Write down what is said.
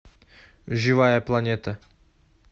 живая планета